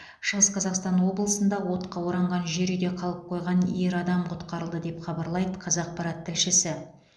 шығыс қазақстан облысында отқа оранған жер үйде қалып қойған ер адам құтқарылды деп хабарлайды қазақпарат тілшісі